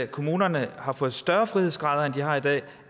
kommunerne har fået større frihedsgrader end de har i dag